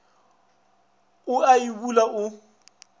o a e bula o